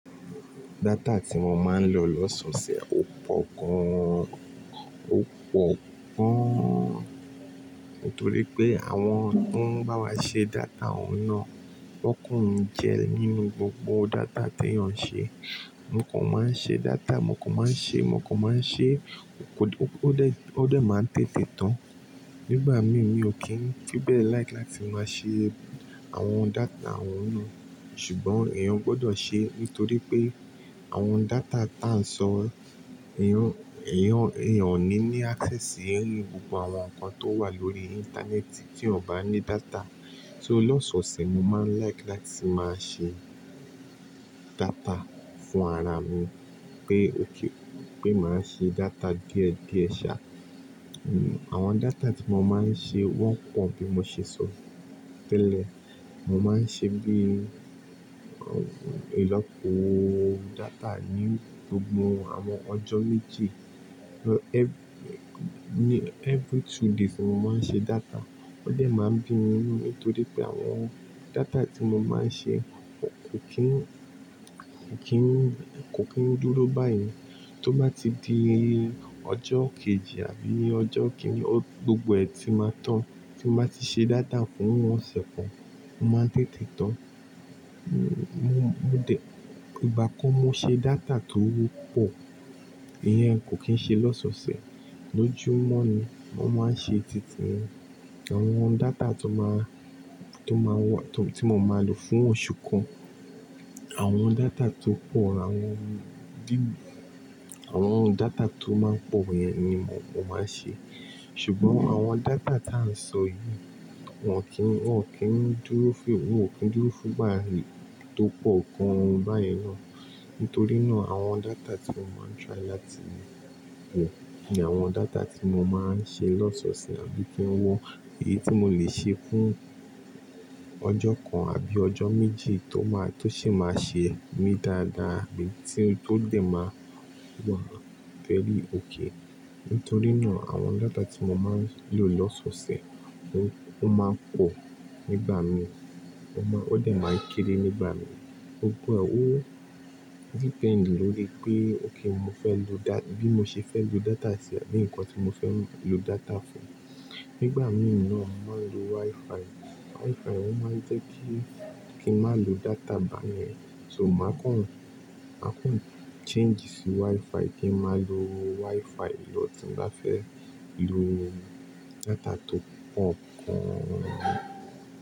Data tí mo máa ń lò lọ́sọ̀ọ̀sẹ̀ ò pọ̀ gaan, Nítorí pé àwọn tó ń bá wa ṣe data òun náà won kan n jẹ́ nínú gbogbo data tí èèyàn ń ṣe. Mo kò máa ń ṣe data, mo kò máa ń ṣe, mo kò máa ń ṣe, ó dé, ó dé máa ń tètè tán nígbà mí, mi ò kí ń fi be like láti máa ṣe àwọn data àwọn náà. Ṣùgbọ́n èèyàn gbọdọ̀ ṣe, nítorí pé àwọn data táà ń sọ, èèyàn, èèyàn, èèyàn ò ní ní access sí any gbogbo àwọn nǹkan tó wà lórí Íńtánẹ́ẹ̀tì tí ò bá ní data. So lọ́sọ̀ọ̀sẹ̀ mo máa ń like láti máa ṣe data fún ara mi pé ok, pé màá ṣe data díẹ̀ díẹ̀ ṣá. Hmm, àwọn data tí mo máa ń ṣe wọ́n pọ̀ bí mo ṣe sọ tẹ́lẹ̀. Mo máa ń ṣe bí i ìlọ́po data ní gbogbo àwọn ọjọ́ méjì. Every, every two days ni mo máa ń ṣe data. Ó dé máa ń bí nínú, nítorí pé àwọn data tí mo máa ń ṣe kò kín, kò kín, kò kín dúró báyìí. Tó bá ti di ọjọ́ kejì àbí ọjọ́ kíni, gbogbo ẹ̀ tí máa tán. Tí mo bá ti ṣe data fún ọ̀sẹ̀ kan, o máa ń tètè tán. Mo, mo dẹ̀, ìgbà kan mo ṣe data tọ́pọ̀, ìyẹn kò kín ṣe lọ́sọ̀ọ̀sẹ̀, lójúmọ́ ni mo máa ń ṣe títiyen Àwọn data tó máa, tó máa wọ, tí mo máa lò fún oṣù kan. Àwọn data tó pọ̀, àwọn view, àwọn data tó máa ń pọ̀ yẹn ni mo máa ń ṣe. Ṣùgbọ́n àwọn data táà ń sọ yìí wọn kì í, wọn kì í dúró fún, wọn ò kí ń dúró fún ìgbà tó pọ̀ gan báyìí ná. Nítorí náà àwọn data tí mo máa ń try láti wo, ni àwọn data tí mo máa ń ṣe lọ́sọ̀ọ̀sẹ̀ àbí kí wọ́ èyí tí mo lè ṣe fún ọjọ́ kan àbí ọjọ́ méjì tó máa, tó sì máa ṣe mí dáadáa, bí i tí ó dé máa wà very okay Nítorí náà àwọn data tí mo máa ń lò lọ́sọ̀ọ̀sẹ̀ ó máa ń pò nígbà mí. Ó máa, ó dé máa ń kéré nígbà mí. Gbogbo ẹ, ó depend lórí pé okay mo fẹ́ lo da-- bí mo ṣe fẹ́ lo data, tàbí nǹkan tí mo fẹ́ lò data fún. Nígbà mí náà mo máa ń lo WiFi. WiFi òun máa ń jẹ́ kí, kí n má lo data báyen So màá kan, màá kan change sí WiFi kí n má lo WiFi lọ tí n bá fẹ́ lò data tó pọ̀ gan.